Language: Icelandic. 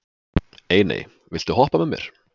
Einey, viltu hoppa með mér?